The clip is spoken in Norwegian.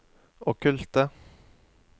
okkulte